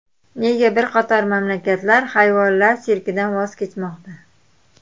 Nega bir qator mamlakatlar hayvonlar sirkidan voz kechmoqda?.